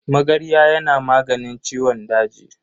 Magarya yana maganin ciwon daji.